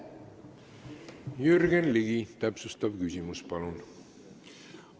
Jürgen Ligi, täpsustav küsimus, palun!